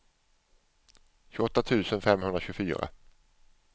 tjugoåtta tusen femhundratjugofyra